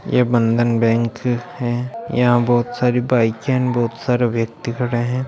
ये बंधन बैंक है यहां बहुत सारी बाइके हैं बहुत सारा व्यक्ति खड़े हैं।